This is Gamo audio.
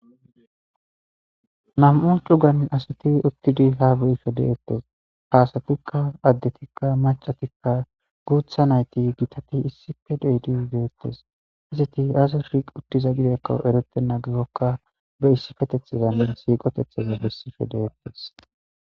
nam7u cugan asati uttidi ha be7ishe de'ettes. Ha asatikka addetikka, maccatikka, guutha nayti, gitati,issippe deydi deettes. Izati aazas shiqi uttiza gidakko eretenna gisoykka be issipetethezanne siiqotethaza bessife deettes.